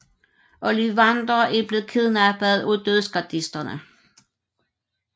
Ollivander er blevet kidnappet af Dødsgardisterne